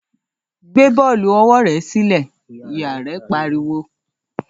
‘Gbé bó̩ò̩lù o̩wó̩ re̩ sílè̩!’, ìyá rè̩ pariwo